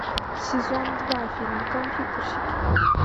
сезон два фильм компьютерщики